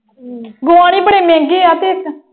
Gone ਹੀ ਬੜੇ ਮਹਿੰਗੇ ਆ ਤੇ ਇਕ।